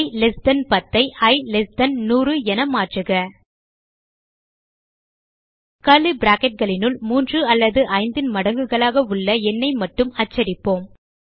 இ less than 10 ஐ i less than 100 என மாற்றுக கர்லி bracketகளினுள் 3 அல்லது 5 ன் மடங்குகளாக உள்ள எண்ணை மட்டும் அச்சடிப்போம்